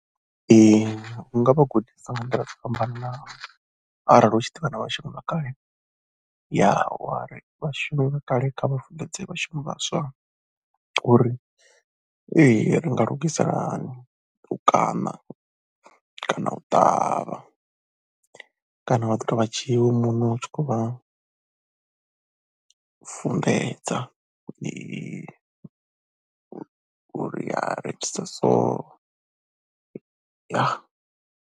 Ee u nga vha gudisa nga nḓila dzo fhambananaho arali hu tshi ḓovha na vhashumi vha kale, u yari vhashumi vha kale kha vha funḓedze vhashumi vhaswa uri ee ri nga lugisa hani kana kana u ṱavha kana vha ḓi tou vha dzhiwa iwe muṋe u tshi khou vha funḓedza uri ri itisa so, ya.